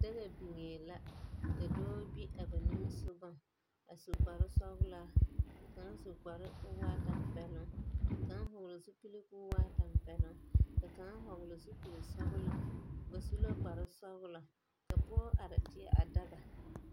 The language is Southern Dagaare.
Daga biŋee la ka dɔɔ gbi a ba nimmisɔgɔŋ, a su kparre sɔglaa, ka kaŋ su kparoo koo waa tampɛloŋ, Ka kaŋ hɔɔle zupil koo waa tampɛloŋ, ka kaŋ hɔɔle zupil sɔglaa, Ba su la kparre sɔglɔ, ka pɔge are teɛ a daga.